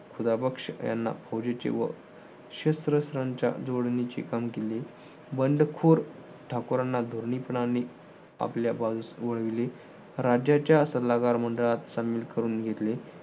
याना फौजेचे व शस्त्रस्त्रांच्या जोडणीचे काम केले. बंडखोर ठाकोरांना धोरणीपणाने आपल्या बाजूस वळविले. राज्याच्या सल्लागार मंडळात सामील करून घेतले.